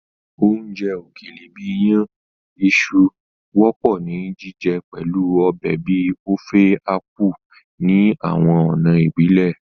Oúnjẹ òkèlè bìí iyàn iṣu wọ́pọ̀ ni jíjẹ pẹ̀lu ọbẹ̀ bíi Ofe Akwu ní àwọn ọ̀nà ìbílẹ̀.